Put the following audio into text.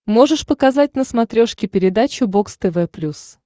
можешь показать на смотрешке передачу бокс тв плюс